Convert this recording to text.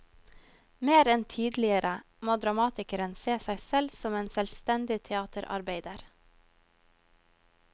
Mer enn tidligere må dramatikeren se seg selv som en selvstendig teaterarbeider.